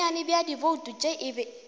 bonnyane bja dibouto tše e